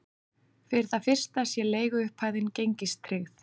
Fyrir það fyrsta sé leiguupphæðin gengistryggð